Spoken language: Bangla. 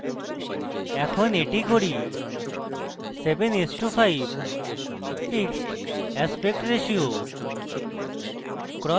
এখন এটি করি 7:5 fixed aspect ratio